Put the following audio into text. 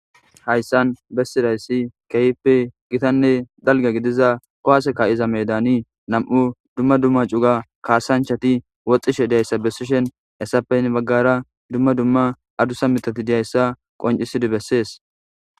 hayssan bessidayssi keehppe gitanne dalga gidiza kowaseka iza medani nam7u dumma dumma cuga kaasanchati woxxishe dayssa bessishen essappeyn baggara dumma dumma adusa mitati diyayssa qoncisidi bessees